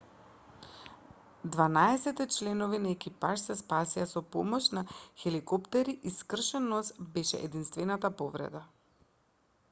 дванаесетте членови на екипажот се спасија со помош на хеликоптери и скршен нос беше единствената повреда